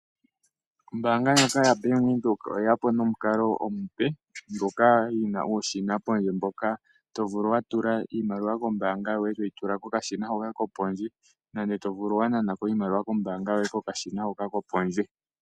Ombaanga ndjoka yaBank Windhoek oye ya po nomukalo omupe, ngoka yi na uushina pondje mboka to vulu wa tula iimaliwa kombaanga yoye toyi tula kokashina hoka kopondje nande to vulu wa nana ko iimaliwa yoye kokashina hoka kopondje.